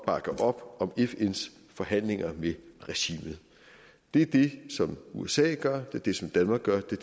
bakke op om fns forhandlinger med regimet det er det som usa gør det er det som danmark gør det